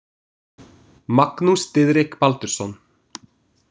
Magnús Diðrik Baldursson.